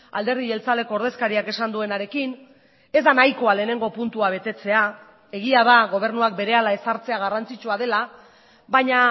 alderdi jeltzaleko ordezkariak esan duenarekin ez da nahikoa lehenengo puntua betetzea egia da gobernuak berehala ezartzea garrantzitsua dela baina